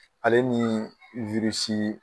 Ale nii wirisii